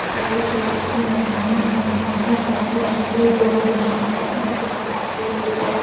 यह एक रेस की मैदानें है यहाँ बहुत सारे बच्चे दौड़ रहे हैं बहुत ही बड़ा फील्ड है।